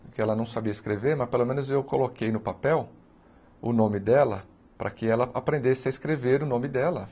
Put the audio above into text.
Porque ela não sabia escrever, mas pelo menos eu coloquei no papel o nome dela, para que ela aprendesse a escrever o nome dela.